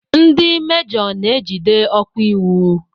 Ndị mejoo na ejide okwa iwu.